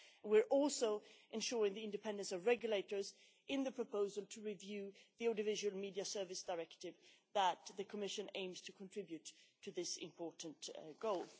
We are also ensuring the independence of regulators in the proposal to review the Audiovisual Media Service Directive that the Commission aims to contribute to this important goal.